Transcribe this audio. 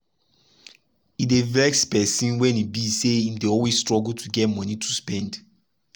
e dey vex person when e be say im dey always struggle to get monie to spend.